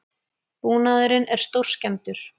Búnaðurinn er stórskemmdur